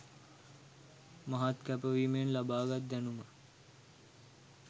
මහත් කැපවීමෙන් ලබාගත් දැනුම